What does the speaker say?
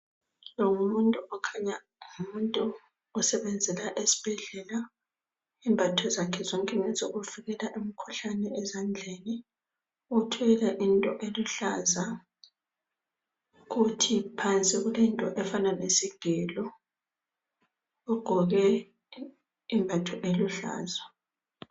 lo ngumuntu okhanya ngumuntu osebenzela esibhedlela izembatho zakhe zonke ngezokuvikela imikhuhlane ezandleni uthwele into eluhlaza kuthi phansi kulento efana lesigelo ugqoke isembatho esiluhlaza.